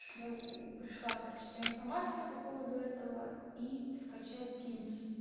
пришла короче вся информация по поводу этого и скачать тимс